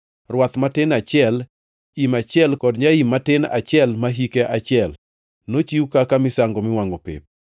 rwath matin achiel, im achiel kod nyaim matin achiel ma hike achiel, nochiw kaka misango miwangʼo pep;